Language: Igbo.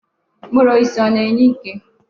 Mkpụrụ osisi ọ na-enye ike?